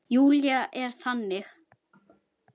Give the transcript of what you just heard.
Júlía er þannig.